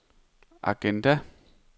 agenda